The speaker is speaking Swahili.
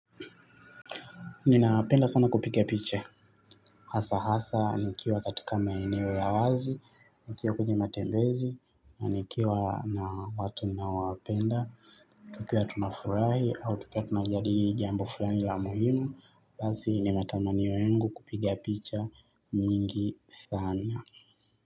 Ninapenda sana kupiga picha. Hasa hasa nikiwa katika maeneo ya wazi, nikiwa kwenye matembezi, na nikiwa na watu ninaowapenda. Tukiwa tunafurahi au tukiwa tunajadili jambo fulani la muhimu. Basi ni matamanio yangu kupiga picha nyingi sana.